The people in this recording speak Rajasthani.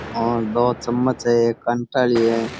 और दो चमच है एक कांटे आली है।